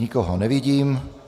Nikoho nevidím.